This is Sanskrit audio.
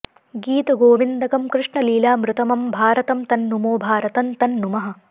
गीतगोविन्दकं कृष्णलीलामृतमं भारतं तं नुमो भारतं तं नुमः